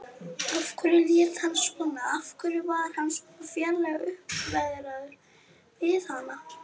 Af hverju lét hann svona, af hverju var hann svona ferlega uppveðraður við hana?